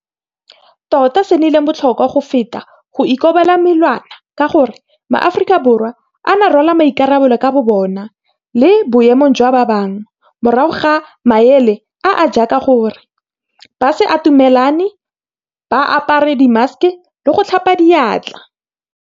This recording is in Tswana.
Tota se se nnileng botlhokwa go feta go ikobela melawana ka gore, maAforika Borwa a ne a rwala maikarabelo ka bobona le boemong jwa ba bangwe, morago ga maele a a jaaka gore ba se atamelane, ba apare dimmaseke le go tlhapa diatla.